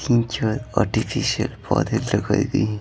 तीन चार आर्टिफिशियल पौधे लगाई गई--